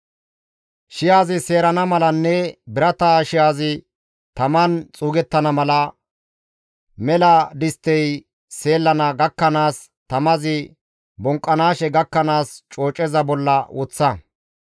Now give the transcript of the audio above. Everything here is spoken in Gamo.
Shi7azi seerana malanne birata shi7azi taman xuugettana mala, mela disttey seellana gakkanaas, tamazi bonqqanaashe gakkanaas cooceza bolla woththa.